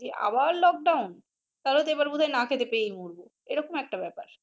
আবার lockdown তাহলেতো এইবার বোধহয় না খেতে পেয়ে মরবো এই রকম ব্যাপার।